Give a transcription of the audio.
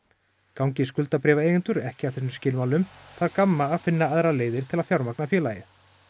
gangi ekki að þessum skilmálum þarf Gamma að finna aðrar leiðir til að fjármagna félagið